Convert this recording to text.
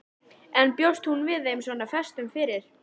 En bjóst hún við þeim svona föstum fyrir?